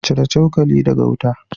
Cire cokali daga wuta